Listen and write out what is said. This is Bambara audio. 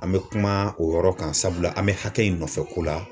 An bɛ kuma o yɔrɔ kan sabula an bɛ hakɛ in nɔfɛko la